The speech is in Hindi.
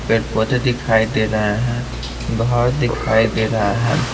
फिर पौधे दिखाई दे रहे हैं घर दिखाई दे रहा है।